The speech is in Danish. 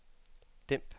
dæmp